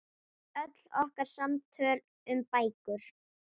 Öll okkar samtöl um bækur.